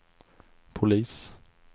polis